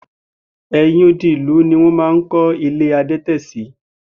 È̩yìn odi ìlú ni wó̩n máa ń kó̩ ilé adé̩tè̩ sí